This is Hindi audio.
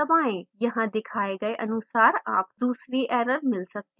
यहाँ दिखाए गए अनुसार आपको दूसरी एरर मिल सकती है